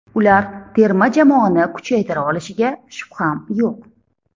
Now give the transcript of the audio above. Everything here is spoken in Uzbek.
Ular terma jamoani kuchaytira olishiga shubham yo‘q.